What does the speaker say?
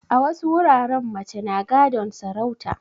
A wasu wuraren mace na gadon sarauta